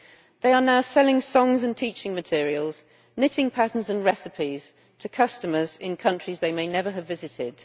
They are now selling songs and teaching materials, knitting patterns and recipes, to customers in countries they may never have visited.